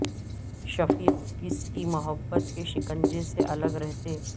شفیق اس کی محبت کے شکنجے سے الگ رہتے